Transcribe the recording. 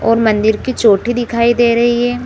और मंदिर की चोटी दिखाई दे रही है।